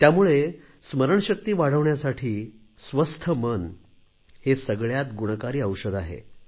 त्यामुळे स्मरणशक्ती वाढविण्यासाठी स्वस्थ मन हे सगळ्यात गुणकारी औषध आहे